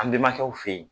An bɛnbakɛw fe yen